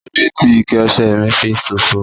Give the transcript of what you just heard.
Kí lóde ti ikẹ ọ̀sẹ̀ mí fi ṣòfò?